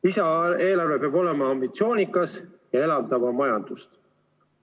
Lisaeelarve peab olema ambitsioonikas ja elavdama majandust.